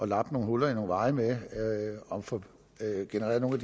lappe nogle huller i nogle veje med og få genereret nogle